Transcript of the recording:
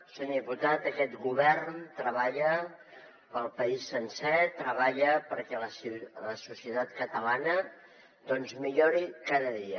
senyor diputat aquest govern treballa pel país sencer treballa perquè la societat catalana millori cada dia